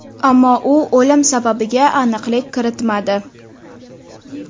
Ammo u o‘lim sababiga aniqlik kiritmadi.